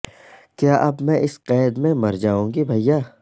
کیا اب میں اس قید میں مرجائوں گی بھیا